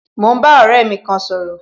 Mo ń bá ọ̀rẹ́ mi kan sọ̀rọ̀